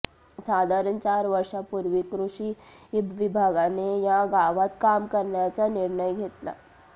साधारण चार वर्षापूर्वी कृषी विभागाने या गावात काम करण्याचा निर्णय घेतला